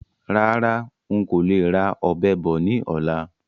Rárá, ń kó le ra Ọ̀bẹ bọ̀ ni ọ̀la.